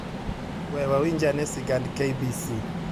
We wawinj ane sigand KBC